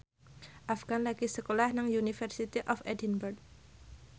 Afgan lagi sekolah nang University of Edinburgh